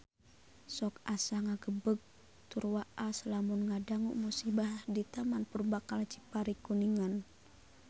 Sok asa ngagebeg tur waas lamun ngadangu musibah di Taman Purbakala Cipari Kuningan